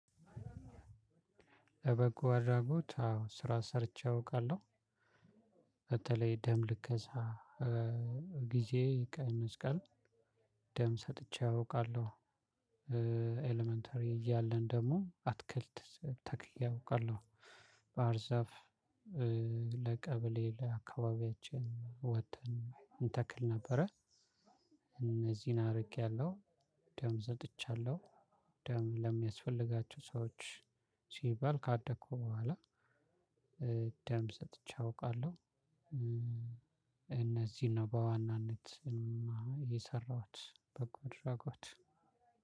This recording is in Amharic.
የበጎ አድራጎት አዎ ስራ ሰርቼ አውቃለሁ። በተለይ ደም ልገሳ ጊዜ ቀይ መስቀል። ደም ሰጥቼ አውቃለሁ። ኤለመንተሪ እያለን ደግሞ አትክልት ተክዬ አውቃለሁ። ባህር ዛፍ። ለቀበሌ ለአካባቢያችን ወጥተን እንተክል ነበረ። እነዚህን አርጌያለሁ። ደም ሰጥቻለሁ ደም ለሚያስፈልጋቸው ሰዎች ሲባል ካደኩ በኋላ ደም ሰጥቼ አውቃለሁ። እነዚህን ነው በዋናነት እኔማ የሰራሁት በጎ አድራጎት